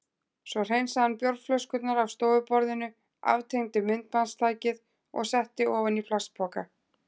Svo hreinsaði hann bjórflöskurnar af stofuborðinu, aftengdi myndbandstækið og setti ofan í plastpoka.